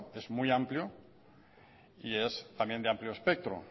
es muy amplio y es también de amplio espectro